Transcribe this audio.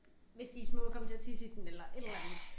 Hvis de små kom til at tisse i den eller et eller andet